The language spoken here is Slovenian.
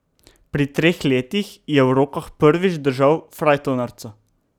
Pri treh letih je v rokah prvič držal frajtonarico.